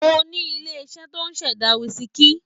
Mo ní ilé-iṣẹ́ tó ń ṣẹ̀dá wísíkì.